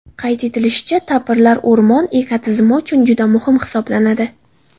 Qayd etilishicha, tapirlar o‘rmonlar ekotizimi uchun juda muhim hisoblanadi.